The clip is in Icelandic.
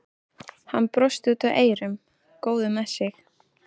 Hann brosti út að eyrum, góður með sig.